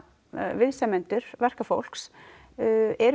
viðsemjendur verkafólks eru